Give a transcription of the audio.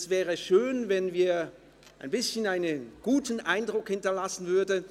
Es wäre schön, wenn wir ein bisschen einen guten Eindruck hinterlassen würden.